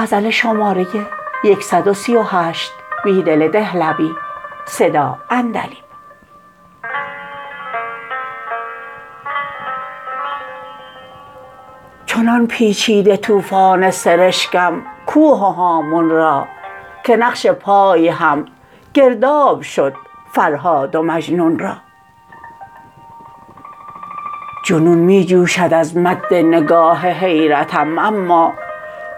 چنان پیچیده توفان سرشکم کوه و هامون را که نقش پای هم گرداب شد فرهاد و مجنون را جنون می جوشد از مد نگاه حیرتم اما